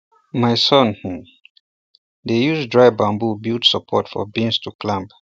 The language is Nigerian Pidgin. my son um dey use um dry bamboo build support for beans to climb